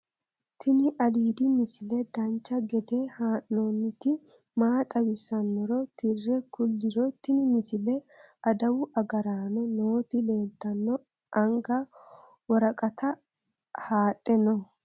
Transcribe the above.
tini aliidi misile dancha gede haa'nooniti maa xawissannoro tire kulliro tini misile adawu agaraanno nooti leeltanno anga woraqata haadhe noo